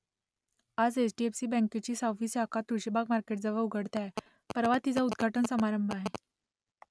आता H D F C बँकेची सहावी शाखा तुळशीबाग मार्केटजवळ उघडते आहे परवा तिचा उद्घाटन समारंभ आहे